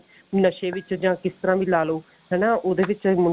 ਨਸ਼ੇ ਵਿੱਚ ਜਾਂ ਕਿਸ ਤਰ੍ਹਾਂ ਵੀ ਲਾ ਲਓ ਹਨਾ ਉਹਦੇ ਵਿੱਚ